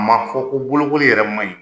A ma fɔ ko bolokoli yɛrɛ man ɲi,